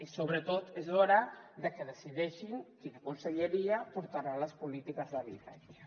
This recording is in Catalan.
i sobretot és hora de que decideixin quina conselleria portarà les polítiques d’habitatge